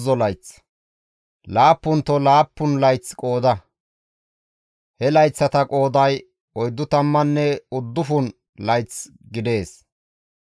« ‹Laappunto laappun layth qooda; he layththata qooday oyddu tammanne uddufun layth gidees;